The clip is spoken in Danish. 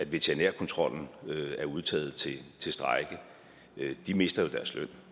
veterinærkontrollen er udtaget til strejke mister jo deres løn